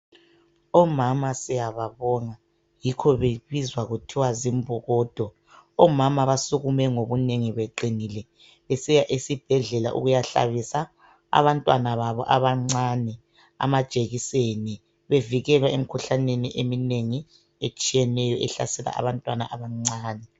Omama siyababonga yikho bebizwa kuthiwa zimbokodo, omama basukume ngobunengi beqinile besiya esibhedlela ukuyahlabisa abantwana babo abancane amajekiseni bevikela emikhuhlaneni eminengi etshiyeneyo ehlasela abantwana abancane.